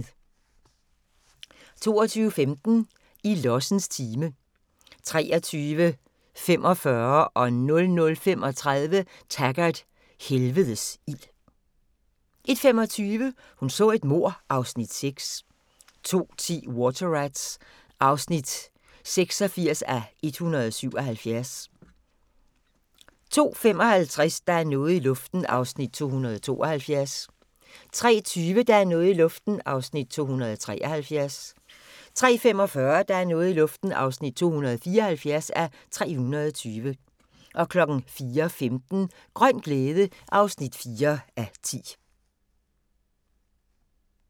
22:15: I lossens time 23:45: Taggart: Helvedes ild 00:35: Taggart: Helvedes ild 01:25: Hun så et mord (Afs. 6) 02:10: Water Rats (86:177) 02:55: Der er noget i luften (272:320) 03:20: Der er noget i luften (273:320) 03:45: Der er noget i luften (274:320) 04:15: Grøn glæde (4:10)